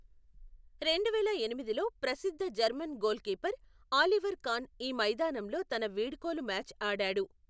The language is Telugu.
రెండు వేల ఎనిమిదిలో ప్రసిద్ధ German goalkeeper, Oliver Kahn ఈ మైదానంలో తన వీడ్కోలు మ్యాచ్ ఆడాడు.